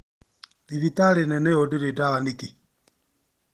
Thibitarĩ nene ũũ ndĩrĩ dawa nĩkĩ?